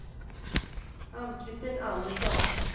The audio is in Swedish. Ann-Christin Andersson